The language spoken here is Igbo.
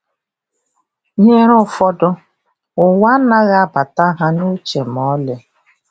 Nyere ụfọdụ, ụwa anaghị abata ha n’uche ma ọlị.